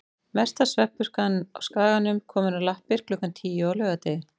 Mesta svefnpurkan á Skaganum komin á lappir klukkan tíu á laugardegi.